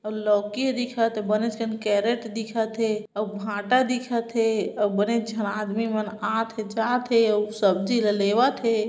लौकी हा दिखत हे बने असन कैरट हा दिखत हे अउ भाटा दिखत हे अउ बने झन आदमी मन आथे जाथे अउ सब्जी ला लेवत हे।